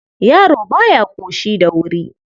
Yaro ba ya ƙoshi da wuri..